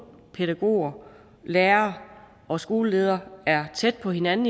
pædagoger lærere og skoleleder er tæt på hinanden